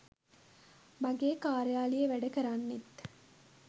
මගේ කාර්යාලීය වැඩ කරන්නෙත්